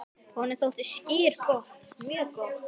Honum þótti skyr gott, mjög gott.